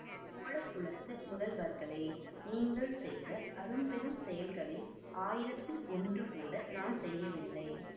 சோழ குலத்து முதல்வர்களே நீங்கள் செய்த அரும்பெரும் செயல்களில் ஆயிரத்தில் ஒன்றுகூட நான் செய்யவில்லை